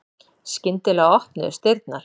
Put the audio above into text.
Skyndilega opnuðust dyrnar.